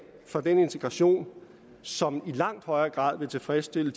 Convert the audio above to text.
for den integration som i langt højere grad vil tilfredsstille